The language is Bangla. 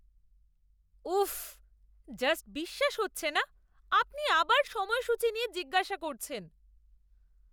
উফফ, জাস্ট বিশ্বাস হচ্ছে না আপনি আবার সময়সূচী নিয়ে জিজ্ঞাসা করছেন!